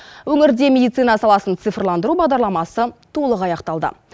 өңірде медицина саласын цифрландыру бағдарламасы толық аяқталды